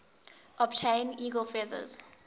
obtain eagle feathers